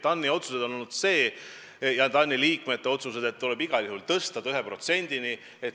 TAN-i otsus, TAN-i liikmete otsus on, et rahastamine tuleb igal juhul viia 1%-ni.